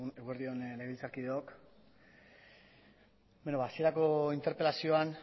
eguerdi on legebiltzarkideok beno ba hasierako interpelazioan